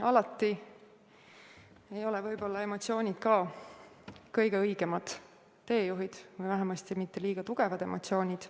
Aga alati ei ole emotsioonid kõige õigemad teejuhid – või vähemasti mitte liiga tugevad emotsioonid.